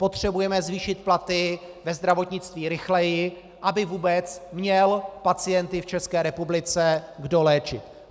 Potřebujeme zvýšit platy ve zdravotnictví rychleji, aby vůbec měl pacienty v České republice kdo léčit.